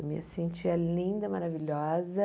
Eu me sentia linda, maravilhosa.